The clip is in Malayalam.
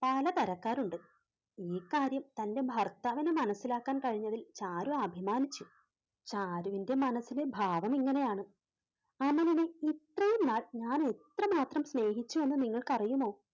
പലതരക്കാരുണ്ട്. ഈ കാര്യം തന്റെ ഭർത്താവിന് മനസ്സിലാക്കാൻ കഴിഞ്ഞതിൽ ചാരു അഭിമാനിച്ചു. ചാരുവിന്റെ മനസ്സിലെ ഭാവം ഇങ്ങനെയാണ് അമലിനെ ഇത്രയും നാൾ ഞാൻ എത്രമാത്രം സ്നേഹിച്ചു എന്ന് നിങ്ങൾക്കറിയുമോ?